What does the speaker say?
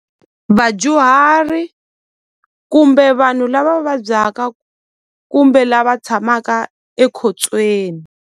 Vadyuhari kumbe vanhu lava vabyaka kumbe lava tshamaka ekhotsweni.